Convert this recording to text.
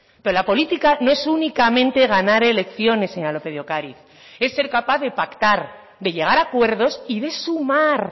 pero la política no es únicamente ganar elecciones señora lópez de ocariz es ser capaz de pactar de llegar a acuerdos y de sumar